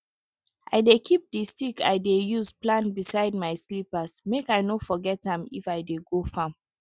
i dey keep di stick i dey use plant beside my slippers make i no forget am if i dey go farm